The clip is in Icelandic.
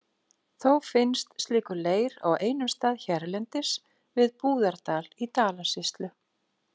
Þó finnst slíkur leir á einum stað hérlendis, við Búðardal í Dalasýslu.